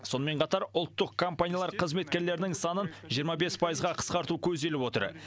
сонымен қатар ұлттық компаниялар қызметкерлерінің санын жиырма бес пайызға қысқарту көзделіп отыр